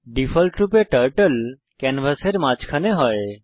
ডিফল্টরূপে টার্টল ক্যানভাসের মাঝখানে হয়